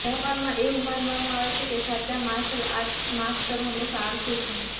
જાપાનમાં એવું માનવામાં આવે છે કે સાચા માર્શલ આર્ટ્સ માસ્ટર હંમેશા આળસુ છે